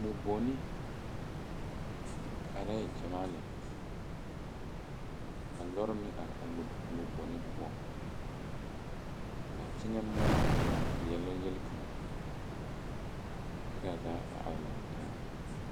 Moɔ goni are gyamaa lɛ ka lɔre meŋ are moɔ goni poɔŋ ka teŋɛ moɔ a veɛlɛ yelikaŋ kyɛ kaa zaa are laŋtaa.